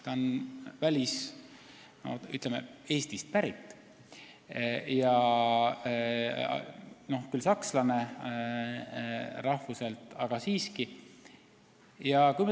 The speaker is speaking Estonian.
Ta on rahvuselt küll sakslane, aga Eestist pärit.